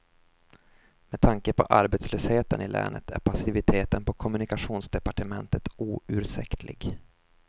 Med tanke på arbetslösheten i länet är passiviteten på kommunikationsdepartementet oursäktlig.